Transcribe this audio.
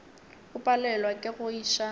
o palelwa ke go iša